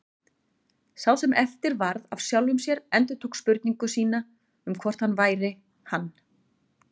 Sá sem eftir varð af sjálfum sér endurtók spurningu sína um hvort hann væri hann.